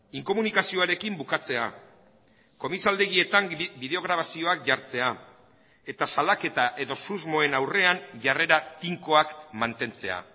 inkomunikazioarekin bukatzea komisaldegietan bideo grabazioak jartzea eta salaketa edo susmoen aurrean jarrera tinkoak mantentzea